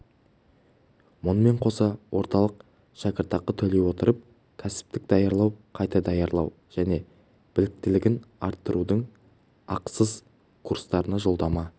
мұнымен қоса орталық шәкіртақы төлей отырып кәсіптік даярлау қайта даярлау және біліктілігін арттырудың ақысыз курстарына жолдама